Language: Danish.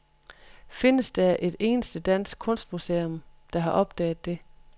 Findes der et eneste dansk kunstmuseum, der har opdaget det?